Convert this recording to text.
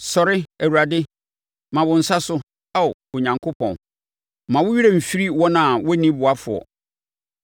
Sɔre, Awurade! Ma wo nsa so, Ao Onyankopɔn. Mma wo werɛ mfiri wɔn a wɔnni aboafoɔ.